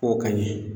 K'o ka ɲɛ